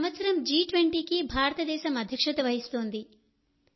ఈ సంవత్సరం జి20కి భారతదేశం అధ్యక్షత వహిస్తోంది